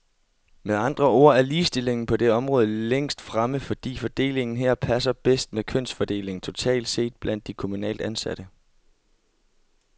Med andre ord er ligestillingen på det område længst fremme, fordi fordelingen her passer bedst med kønsfordelingen totalt set blandt de kommunalt ansatte.